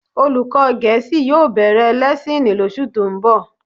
Olùkọ́ Gẹ̀ẹ́sì yóò bẹ̀rẹ̀ lẹ́ẹ́sìnì lóṣù tó ń bọ̀